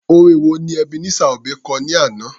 Orin wo ni Ebenezer Obey kọ ní àná?